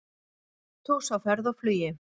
Hesthús á ferð og flugi